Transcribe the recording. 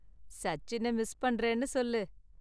சச்சினை miss பண்றேன்னு சொல்லு.